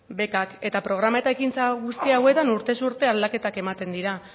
bekak eta programa eta ekintza guzti hauetan urtez urte aldaketak ematen dira